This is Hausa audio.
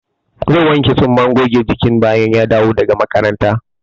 Zai wanke tsumman goge jikin bayan ya dawo daga makaranta?